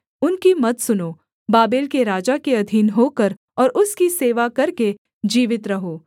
उनकी मत सुनो बाबेल के राजा के अधीन होकर और उसकी सेवा करके जीवित रहो